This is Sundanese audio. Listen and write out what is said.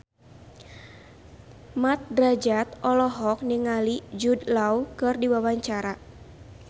Mat Drajat olohok ningali Jude Law keur diwawancara